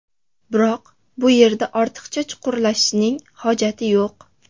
Biroq bu yerda ortiqcha chuqurlashishning hojati yo‘q.